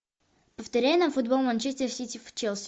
повторяй нам футбол манчестер сити челси